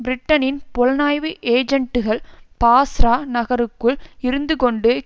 பிரிட்டனின் புலனாய்வு ஏஜென்ட்டுகள் பாஸ்ரா நகருக்குள் இருந்துகொண்டு